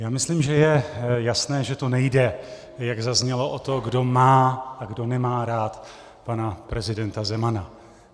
Já myslím, že je jasné, že tu nejde, jak zaznělo, o to, kdo má a kdo nemá rád pana prezidenta Zemana.